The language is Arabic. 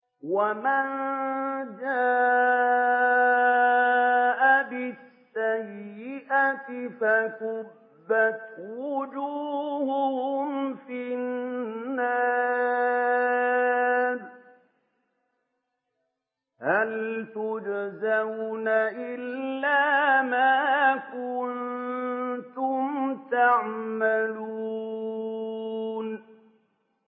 وَمَن جَاءَ بِالسَّيِّئَةِ فَكُبَّتْ وُجُوهُهُمْ فِي النَّارِ هَلْ تُجْزَوْنَ إِلَّا مَا كُنتُمْ تَعْمَلُونَ